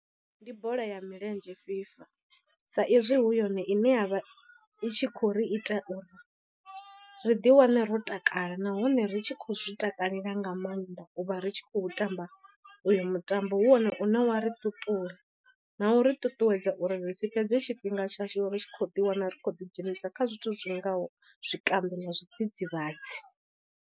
Ndi bola ya milenzhe FIFA sa izwi hu yone ine ya vha i tshi khou ri ita uri ri ḓi wane ro takala nahone ri tshi khou zwi takalela nga maanḓa u vha ri tshi khou tamba uyo mutambo, hu wone une wa ri ṱuṱula na u ri ṱuṱuwedza uri ri si fhedze tshifhinga tshashu ri tshi khou ḓi wana ri khou ḓidzhenisa kha zwithu zwi ngaho zwikambi na zwidzidzivhadzi.